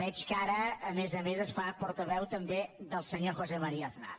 veig que ara a més a més es fa portaveu també del senyor josé maría aznar